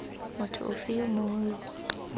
motho ofe yo mongwe yo